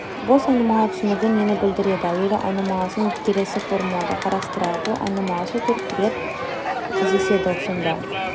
бос айнымалы түсінігі нені білдіреді әуелі айнымалысын келесі формулада қарастырайық бұл айнымалысы төрт рет кездеседі сонда